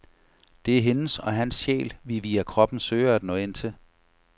Det er hendes eller hans sjæl, vi via kroppen søger at nå ind til.